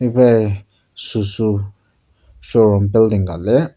ibai suzu showroom building ka lir.